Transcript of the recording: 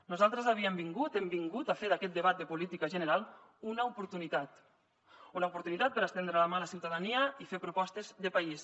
nosaltres havíem vingut hem vingut a fer d’aquest debat de política general una oportunitat una oportunitat per estendre la mà a la ciutadania i fer propostes de país